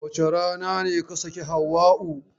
Wace rana ne ka sake Hauwa'u?